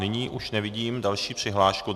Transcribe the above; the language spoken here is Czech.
Nyní už nevidím další přihlášku.